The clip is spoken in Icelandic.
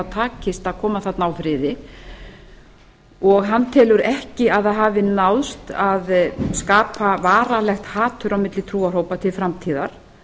takist að koma þarna á friði hann telur ekki að það hafi náðst að skapa varanlegt hatur á milli trúarhópa til framtíðar